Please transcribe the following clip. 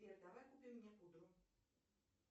сбер давай купим мне пудру